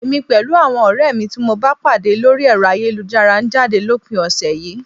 Èmi pẹ̀lú àwọn ọ̀rẹ́ tí mo bá pàdé lórí ẹ̀rọ ayélujára ń jáde lópin ọ̀sẹ̀ yìí